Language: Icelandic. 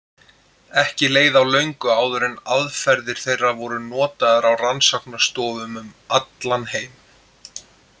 Ekki leið á löngu áður en aðferðir þeirra voru notaðar á rannsóknarstofum um allan heim.